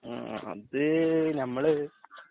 ആ അത് ഞമ്മള്